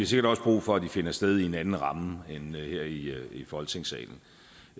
sikkert også brug for at de finder sted i en anden ramme end her i folketingssalen